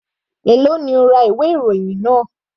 Èló ni o ra ìwé ìròyìn náà?